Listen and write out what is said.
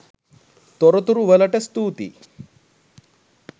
තොරතුරු වලට ස්තුතියි